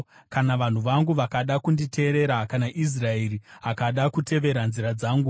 “Kana vanhu vangu vakada kunditeerera, kana Israeri akada kutevera nzira dzangu,